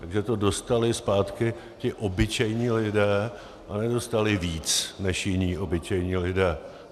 Takže to dostali zpátky ti obyčejní lidé a nedostali víc než jiní obyčejní lidé.